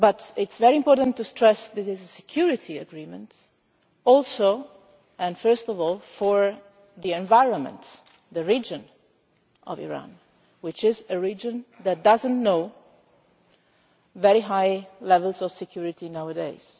It is very important to stress that this is a security agreement, also and first of all for the environment, the region of Iran, which is a region that does not enjoy very high levels of security nowadays.